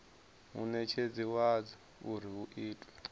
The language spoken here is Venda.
munetshedzi wadzo uri hu itwe